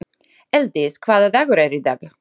Elddís, hvaða dagur er í dag?